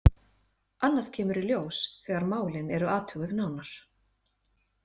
Annað kemur í ljós þegar málin eru athuguð nánar.